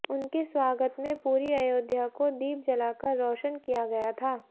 उनके स्वागत में पूरी अयोध्या को दीप जलाकर रोशन किया गया था